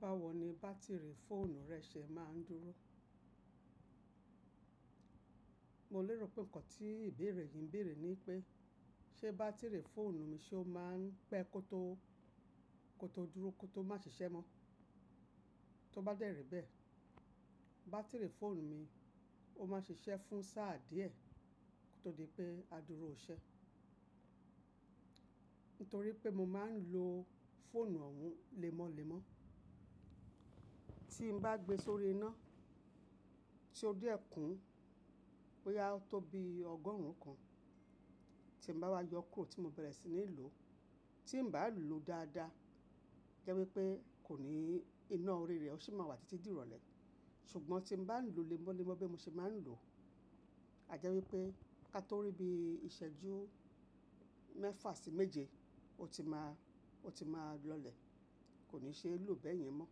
Báwo ni bátìrì fóònù rẹ ṣe máa ń dúró? Mo lérò pé nǹkan tí ìbéèrè yìí ń bèèrè ni pé, ṣe bátìrì fóònù mi ṣe ó máa ń pẹ́ kó tó, kó tó dúró kó tó má ṣiṣẹ́ mọ́? Tó bá dẹ́rẹ̀ bẹ́ẹ̀, bátìrì fóònù mi ó máa ń ṣiṣẹ́ fún sáà díẹ̀ kó tó di pé á dúró ọ̀ṣẹ. Nítorí pé mo máa ń lo fóònù òhun lẹ́mọ́lẹ́mọ́. Tí n bá gbé e sórí iná, tí ó dé ọ̀kún, bóyá ó tó bí ọgọ́rùn ún kan, tí n bá wá yọ kó tí mo bẹ̀rẹ̀ sí ní lò ó, tí n bà á lò ó dáadáa, jẹ́ wípé kò ní, iná orí rẹ ó sì máa wà títí di ìrọ̀lẹ́. Ṣùgbọ́n tí n bá lò ó lẹ́mọ́lẹ́mọ́ bí mo ṣe máa ń lò ó, a jẹ́ wípé ká tó rí bí ìṣẹ́jú mẹ́fà sí méje, ó ti máa, ó ti máa lọlẹ̀. Kò ní ṣe é lò ọ́ bẹ́ẹ̀yẹn mọ́.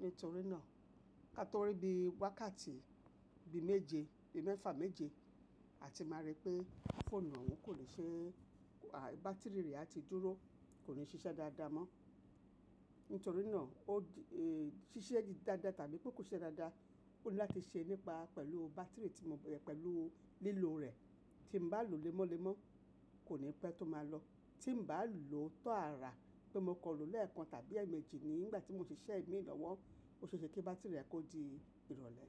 Nítorí náà, ká tó rí bí wákàtí bí méje, bí mẹ́fà méje, a ti máa rí pé fóònù òhun kò lè ṣe é, à, bátìrì rẹ̀ á ti dúró, kò ní ṣiṣẹ́ dáadáa mọ́. Nítorí náà, ó di, e, ṣiṣẹ́ dáadáa tàbí pé kò ṣe dáadáa, kò ní láti ṣe nípa pẹ̀lú bátìrì tí mo bẹ̀rẹ̀ pẹ̀lú lílo rẹ̀. Tí n bá lò ó lẹ́mọ́lẹ́mọ́, kò ní pẹ́ tó máa lọ. Tí n bá lò ó tó àrà pé mo kọ̀ lọ lẹ́ẹ̀kan tàbí ẹ̀ẹ̀méjì nígbà tí mo ṣiṣẹ́ ìmíràn wọ́n, ó ṣe é ṣe kí bátìrì rẹ̀ kó di ìrọ̀lẹ́.